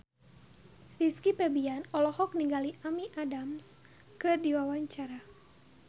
Rizky Febian olohok ningali Amy Adams keur diwawancara